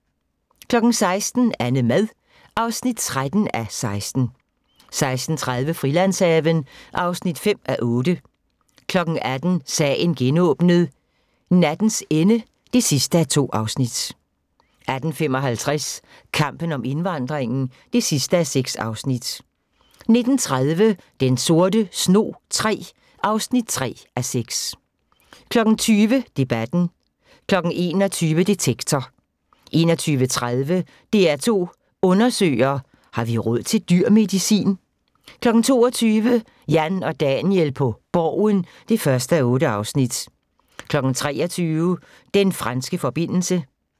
16:00: AnneMad (13:16) 16:30: Frilandshaven (5:8) 18:00: Sagen genåbnet: Nattens ende (2:2) 18:55: Kampen om indvandringen (6:6) 19:30: Den sorte snog III (3:6) 20:00: Debatten 21:00: Detektor 21:30: DR2 Undersøger: Har vi råd til dyr medicin? 22:00: Jan og Daniel på Borgen (1:8) 23:00: Den franske forbindelse